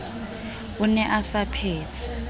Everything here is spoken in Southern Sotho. o ne a sa phetse